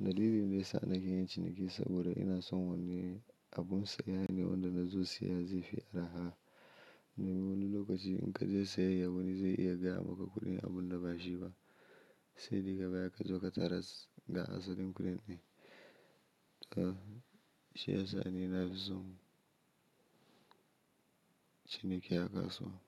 Dalilin da ya sa nake yin ciniki saboda ina son wani abin siya ne wanda na zo siya zai fi arha. Wani lokaci in ka je sayayya wani zai iya gama ka kudin abun da ba shi ba. Sai daga baya ka zo ka tarar ga asalin kuɗin ne. Ka shi ya sa ni na fi son ciniki a kasuwa.